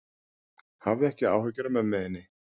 Hafðu ekki áhyggjur af mömmu þinni.